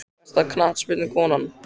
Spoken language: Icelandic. Besta knattspyrnukonan?